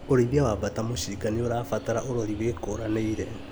ũrĩithia wa mbata mũcinga nĩũrabatara ũrori wĩkũranĩire